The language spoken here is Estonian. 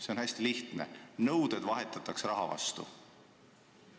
See on hästi lihtne: nõuded vahetatakse raha vastu.